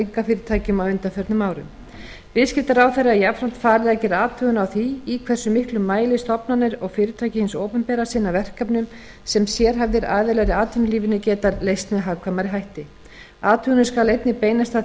einkafyrirtækjum á undanförnum árum viðskiptaráðherra er jafnframt falið að gera athugun á því í hversu miklum mæli stofnanir og fyrirtæki hins opinbera sinna verkefnum sem sérhæfðir aðilar í atvinnulífinu gætu leyst með hagkvæmari hætti athugunin skal einnig beinast að því